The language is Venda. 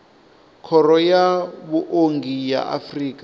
khoro ya vhuongi ya afrika